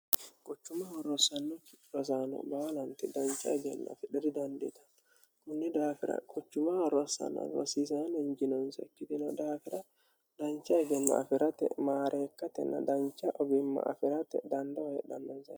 quchumaho rossanno rosaano baalanti dancha egenno afidhe didandiitanno kunni daafira quchumaho rossaano rosiisaano injinonse ikkitino daafira dancha egenno afi'rate maareekkatenna dancha ogimma afi'rate dandoho hedhannonsa.